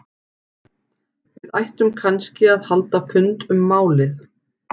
Við ættum kannski að halda fund um málið?